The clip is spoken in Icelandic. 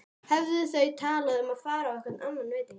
Höfðu þau talað um að fara á einhvern annan veitingastað?